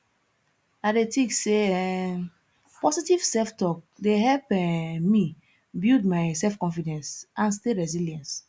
i dey think say um positive selftalk dey help um me build my selfconfidence and stay resilience